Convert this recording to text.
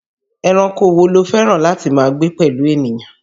Ẹranko wo ló fẹ́ràn láti máa gbé pẹ̀lú ènìyàn?